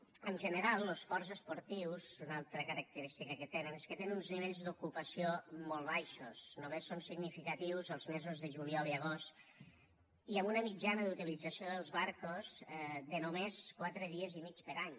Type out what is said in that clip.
en general los ports esportius una altra característica que tenen és que tenen uns nivells d’ocupació molt baixos només són significatius els mesos de juliol i agost i amb una mitjana d’utilització dels barcos de només quatre dies i mig per any